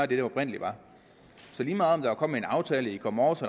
det oprindelig var så lige meget om en aftale i går morges